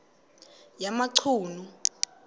yamachunu